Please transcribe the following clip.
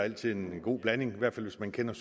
altid en god blanding hvis man kender